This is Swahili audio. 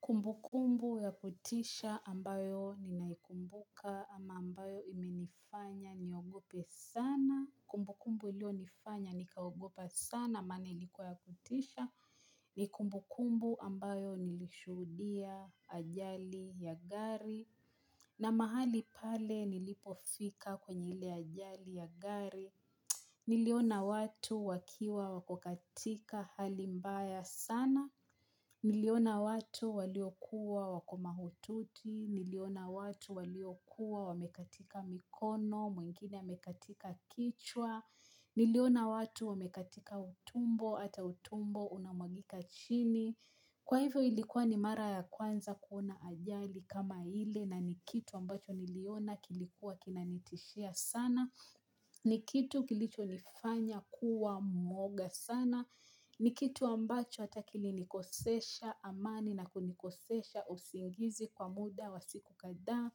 Kumbukumbu ya kutisha ambayo ninaikumbuka ama ambayo imenifanya niogope sana. Kumbu kumbu iliyonifanya nikaogopa sana maana ilikuwa ya kutisha ni kumbukumbu ambayo nilishuhudia ajali ya gari. Na mahali pale nilipofika kwenye ile ajali ya gari. Niliona watu wakiwa wako katika hali mbaya sana. Niliona watu waliokuwa wako mahututi, niliona watu waliokuwa wamekatika mikono, mwingine amekatika kichwa, niliona watu wamekatika utumbo hata utumbo unamwagika chini. Kwa hivyo ilikuwa ni mara ya kwanza kuona ajali kama ile na ni kitu ambacho niliona kilikuwa kinanitishia sana. Ni kitu kilichonifanya kuwa mwoga sana. Ni kitu ambacho hata kilinikosesha amani na kunikosesha usingizi kwa muda wa siku kadha.